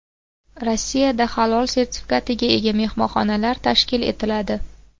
Rossiyada halol sertifikatiga ega mehmonxonalar tashkil etiladi.